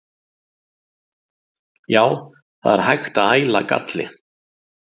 Já, það er hægt að æla galli.